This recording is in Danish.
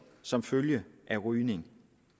som følge af rygning